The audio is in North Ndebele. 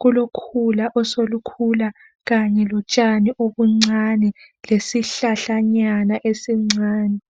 kulokhula oselukhula kanye lotshani obuncane lesihlahlanyana esincane.